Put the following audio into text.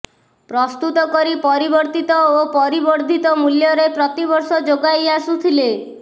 ପ୍ରସ୍ତୁତ କରି ପରିବର୍ତ୍ତିତ ଓ ପରିବର୍ଦ୍ଧିତ ମୂଲ୍ୟରେ ପ୍ରତିବର୍ଷ ଯୋଗାଇ ଆସୁଥିଲେ